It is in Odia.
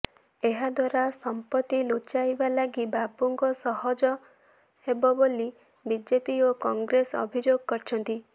ଏହାଦ୍ୱାରା ସଂପତି ଲୁଚାଇବା ଲାଗି ବାବୁଙ୍କ ସହଜ ହେବ ବୋଲି ବିଜେପି ଓ କଂଗ୍ରେସ ଅଭିଯୋଗ କରିଛନ୍ତି